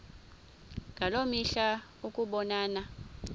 ngaloo mihla ukubonana